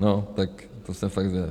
No tak to jsem fakt zvědav.